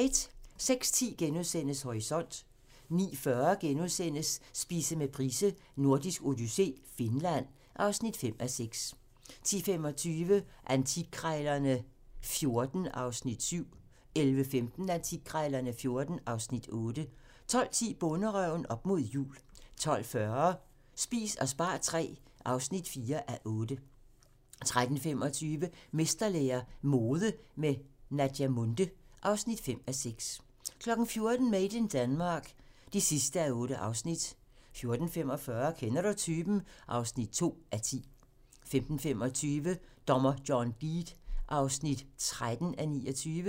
06:10: Horisont * 09:40: Spise med Price: Nordisk odyssé - Finland (5:6)* 10:25: Antikkrejlerne XIV (Afs. 7) 11:15: Antikkrejlerne XIV (Afs. 8) 12:10: Bonderøven - op mod jul 12:40: Spis og spar III (4:8) 13:25: Mesterlære - mode med Naja Munthe (5:6) 14:00: Made in Denmark (8:8) 14:45: Kender du typen? (2:10) 15:25: Dommer John Deed (13:29)